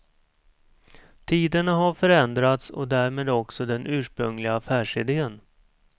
Tiderna har förändrats och därmed också den ursprungliga affärsidén.